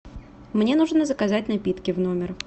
мне нужно заказать напитки в номер